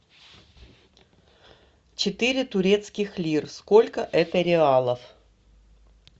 четыре турецких лир сколько это реалов